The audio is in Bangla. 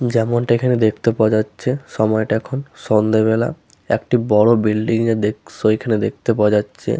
যেমনটা এখানে দেখতে পাওয়া যাচ্ছে সময়টা এখন সন্ধ্যেবেলা। একটি বড় বিল্ডিং এর দৃশ্য এখানে দেখতে পাওয়া যাচ্ছে।